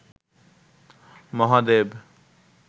Mahadev